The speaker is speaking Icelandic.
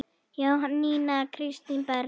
Jónína Kristín Berg.